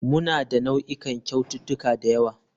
Muna da nau'ikan kyaututtuka da yawa.